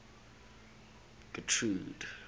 getrude